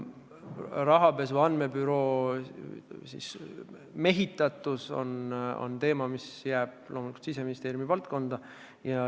Rahapesu andmebüroo mehitatus on teema, mis jääb loomulikult Siseministeeriumi valdkonda.